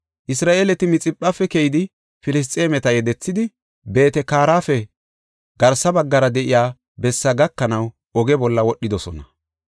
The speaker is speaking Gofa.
Isra7eeleti Mixiphafe keyidi, Filisxeemeta yedethidi, Beet-Kaarape garsa baggara de7iya bessaa gakanaw oge bolla wodhidosona.